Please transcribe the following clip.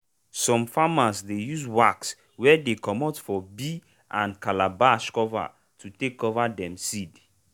some farmer dey use wax wey dey comot for bee and calabash cover to take cover dem seed.